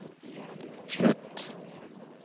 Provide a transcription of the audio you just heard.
slutt